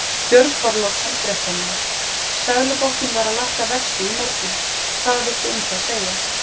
Björn Þorláksson, fréttamaður: Seðlabankinn var að lækka vexti í morgunn, hvað villtu um það segja?